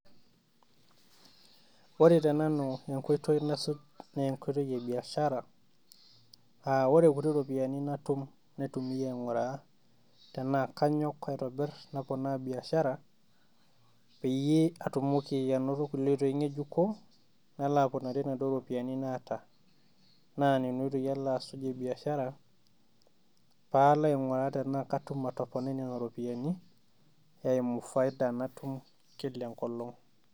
woore tenanu enkoitoi nasuj naa enkoitoi ebiashara aa woore nkuti ropiyiani natuum naitumiaa ainguraa enakanyok aitobirr naponaa biashara patumoki anotiee nkoitoi ngejuko patumoki atoponaa biashara papon iropiyiani natuum kila enkolong'